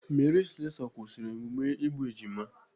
Mary Slessor kwụsịrị emume igbu ejima.